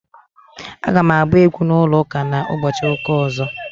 Aga m agba egwu na ụlọ ụka na- ụbọchị ụka ọzo